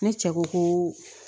Ne cɛ ko ko